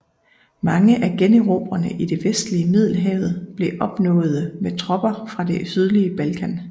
Mange af generobringerne i det vestlige Middelhavet blev opnåede med tropper fra det sydlige Balkan